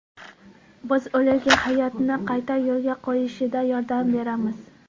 Biz ularga hayotini qayta yo‘lga qo‘yishida yordam beramiz.